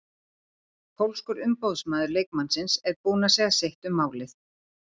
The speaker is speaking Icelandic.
Pólskur umboðsmaður leikmannsins er búinn að segja sitt um málið.